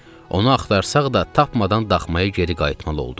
Onu axtarsaq da tapmadan daxmaya geri qayıtmalı olduq.